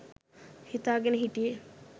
හිතා ගෙන හිටියේ.